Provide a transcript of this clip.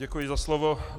Děkuji za slovo.